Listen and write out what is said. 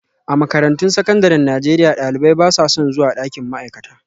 A makarantun sakandaren Najeriya, ɗalibai ba sa son zuwa ɗakin ma'aikata